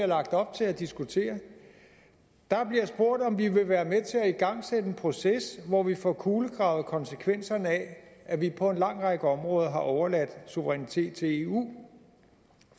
lagt op til at diskutere der bliver spurgt om vi vil være med til at igangsætte en proces hvor vi får kulegravet konsekvenserne af at vi på en lang række områder har overladt suverænitet til eu